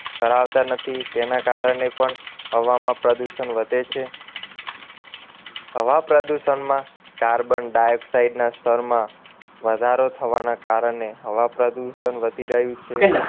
કરાવતા નથી તેના કારણે પણ હવામાં પ્રદુષણ વધે છે હવા પ્રદૂષણમાં carbon dioxide ના સ્તરમાં વધારો થવાના કારણે હવા પ્રદુષણ વધી રહ્યું છે